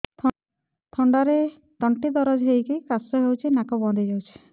ଥଣ୍ଡାରେ ତଣ୍ଟି ଦରଜ ହେଇକି କାଶ ହଉଚି ନାକ ବନ୍ଦ ହୋଇଯାଉଛି